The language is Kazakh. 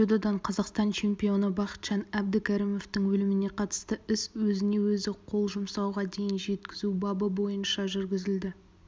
дзюдодан қазақстан чемпионы бақытжан әбдікәрімовтың өліміне қатысты іс өзіне-өзі қол жұмсауға дейін жеткізу бабы бойынша жүргізілді